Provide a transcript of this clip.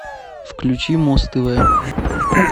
включи муз тв